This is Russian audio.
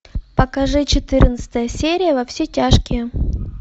покажи четырнадцатая серия во все тяжкие